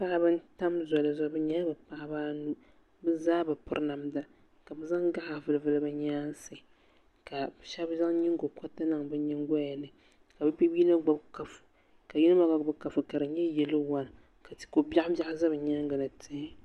Paɣaba n tam zoli zuɣu bɛ nyɛla bɛ paɣaba anu bɛ zaa bi piri namda ka bɛ zaŋ gaɣa vili vili bɛ nyaansi ka sheba zaŋ nyingo koriti niŋ bɛ nyingoya ni ka bɛ yino gbibi kapu ka yino maa gba gbibi kapu ka di nyɛ yelo wan ko'biaɣu biaɣu za bɛ nyaanga ni tihi.